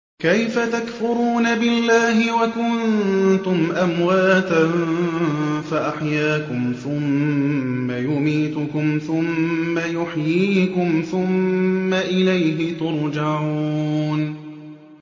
كَيْفَ تَكْفُرُونَ بِاللَّهِ وَكُنتُمْ أَمْوَاتًا فَأَحْيَاكُمْ ۖ ثُمَّ يُمِيتُكُمْ ثُمَّ يُحْيِيكُمْ ثُمَّ إِلَيْهِ تُرْجَعُونَ